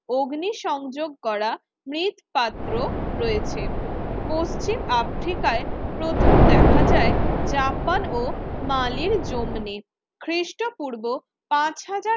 অগ্নিসংযোগ করা মৃৎপাত্র রয়েছে পশ্চিম আফ্রিকায় প্রথম দেখা যায় জাপান ও মালির জমনি খ্রিস্টপূর্ব পাঁচ হাজার